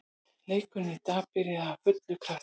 Leikurinn í dag byrjaði af fullum krafti.